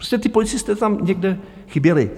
Prostě ti policisté tam někde chyběli.